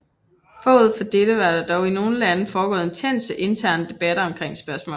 Forud for dette var der i nogle lande foregået intense interne debatter omkring spørgsmålet